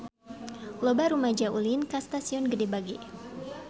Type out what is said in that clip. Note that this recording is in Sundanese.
Loba rumaja ulin ka Stasiun Gede Bage